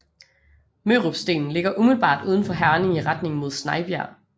Mørupstenen ligger umiddelbart uden for Herning i retning mod Snejbjerg